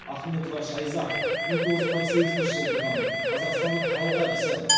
ахметова шайза мыңтоғыз жүз қырық сегізінші жылы туған қазақстанның халық әртісі